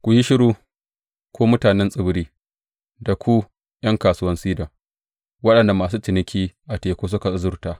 Ku yi shiru, ku mutanen tsibiri da ku ’yan kasuwan Sidon waɗanda masu ciniki a teku suka azurta.